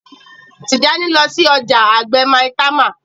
Tijani ló sí ọjà àgbè Maitama